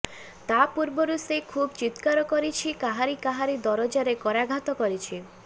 ତା ପୂର୍ବରୁ ସେ ଖୁବ୍ ଚିତ୍କାର କରିଛି କାହାରି କାହାରି ଦରଜାରେ କରାଘାତ କରିଛି